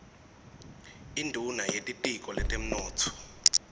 induuna yetitiko letemnotfo